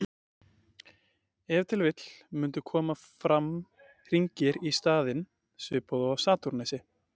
Ef til vill mundu koma fram hringir í staðinn, svipað og á Satúrnusi.